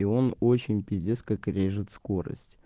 и он очень пиздец как режет скорость